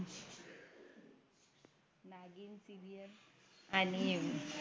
Serial आणि